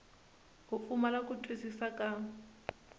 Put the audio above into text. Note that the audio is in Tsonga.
u pfumala ku twisisa ka